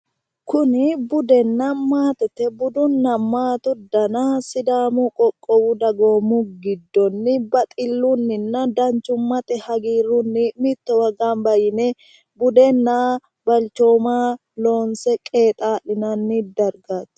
kuni budenna maatete budunna maate dana sidamu qoqqowu dagoomu giddonni baxillunnina danchumate hagiirrunni mittowa gamba yine budenna balchooma loonse qexaa'linanni dargaati